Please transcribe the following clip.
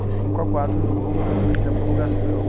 Foi cinco a quatro o jogo na, acho que na prorrogação.